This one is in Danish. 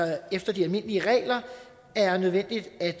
efter de almindelige regler er nødvendigt at